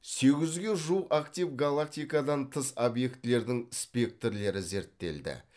сегіз жүзге жуық актив галактикадан тыс объектілердің спектрлері зерттелді